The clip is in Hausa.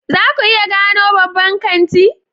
Za ku iya gano babban kanti?